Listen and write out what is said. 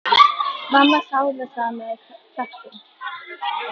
Mamma þáði það með þökkum.